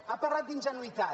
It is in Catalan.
ha parlat d’ingenuïtat